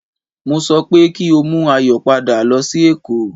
Mo sọ pé kí o mú Ayọ̀ padà lọ sí èkó